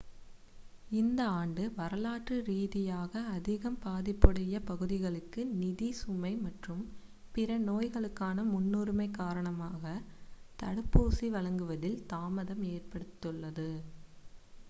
இந்த ஆண்டு வரலாற்று ரீதியாக அதிகம் பாதிப்புடைய பகுதிகளுக்கு நிதி சுமை மற்றும் பிற நோய்களுக்கான முன்னுரிமை காரணமாக தடுப்பூசிகள் வழங்குவதில் தாமதம் ஏற்பட்டுள்ளது